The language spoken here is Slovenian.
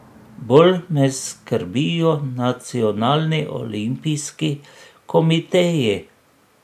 Bolj me skrbijo nacionalni olimpijski komiteji.